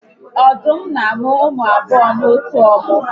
Ọdụm n'amụ ụmụ abụọ n'otu mmụ